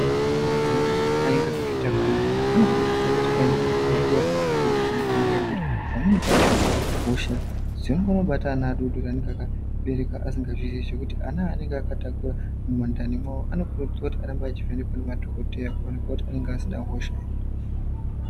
Madzimai anenge akazvitakura anokurudzirwa kuti aende kuchibhedhlera kovhenekwa ngenyaya yekuti pamweni pacho hosha dzinongovabata ana adodori anenge akabereka asingaziyi kuti ana aanenge akatakura mundani mwawo anokurudzirwa kuti arambe achivhenekwa ngemadhogodheya kuonekwa kuti anenge asina hosha here.